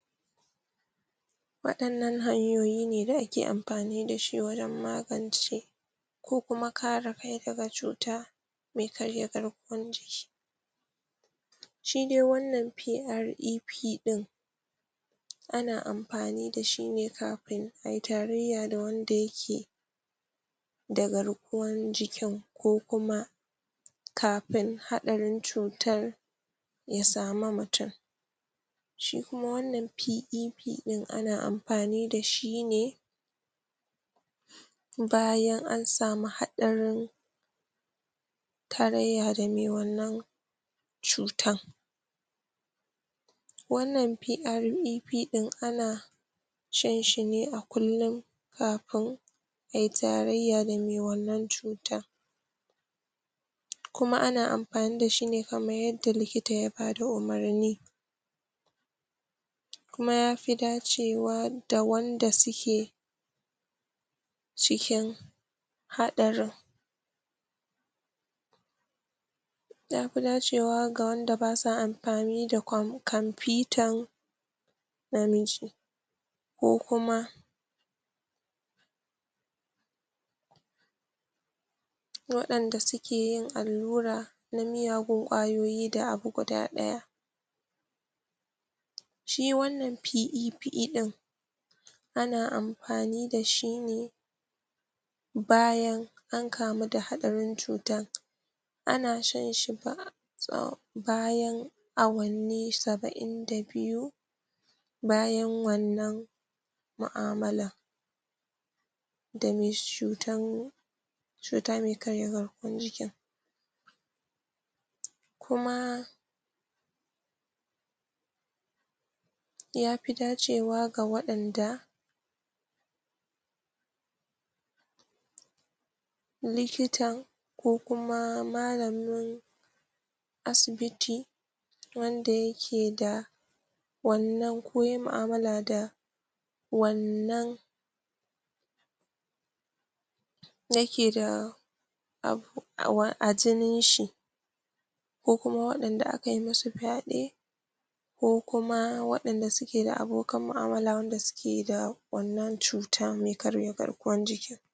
waɗannan hanyoyi ne da ake amfani dashi wajan magance ko kuma kare kai daga cuta mai karya garkuwar jiki shi dai wanna PRPE ana amfani dashi ne kafin ayi tarayya da wanda yake da garkuwan jikin ko kuma kafin haɗarin cutar ya same mutun shi kuma wannan PEP din ana amfani dashi ne bayan ansamu haɗarin tarayya da me wannan cutan, wannan PREP din ana shanshi ne a kullin kafin ayi tarayya da me wannan cutar kuma ana mafani dashi ne kamar yadda likita ya bada umarni, kuma yafi dacewa da wanda suke cikin haɗarin yafi dacewa ga wanda basa amfani da kamfitan namiji ko kuma waɗanda suke yin allura na miyagun ƙwayoyi da abu guda ɗaya, shi wannan PEP din ana amfani dashi ne bayan ankamu da haɗarin cutan ana shanshi bayan awanni saba'in da biyu bayan wannan mu'amalar dame cutan cuta me ƙarya garkuwar jikin kuma yafi dacewa ga waɗanda likitan ko kuma malamin asibiti wanda yake da wannan ko yayi mu'amala da wannan yake da a jinin shi ko kuma waɗanda aka yi musu fyaɗe ko kuma waɗanda suke da abokanan mu'amala waɗanda suke da wannan cuta mai karya garkuwar jiki.